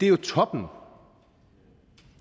er toppen